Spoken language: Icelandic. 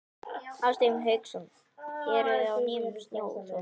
Hafsteinn Hauksson: Eruði á nýjum snjóþotum?